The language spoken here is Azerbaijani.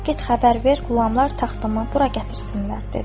Get xəbər ver, qulamlar taxtımı bura gətirsinlər” dedi.